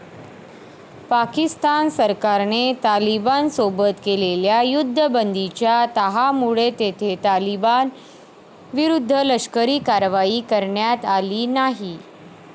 पाकिस्तान सरकारने तालिबान सोबत केलेल्या युद्धबंदीच्या तहामुळे तेथे तालिबान विरुद्ध लष्करी कारवाई करण्यात आली नाही.